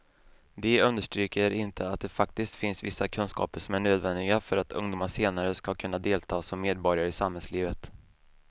De understryker inte att det faktiskt finns vissa kunskaper som är nödvändiga för att ungdomar senare ska kunna delta som medborgare i samhällslivet.